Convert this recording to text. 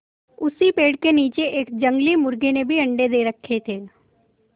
उसी पेड़ के नीचे एक जंगली मुर्गी ने भी अंडे दे रखें थे